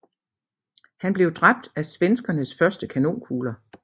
Han blev dræbt af svenskernes første kanonkugler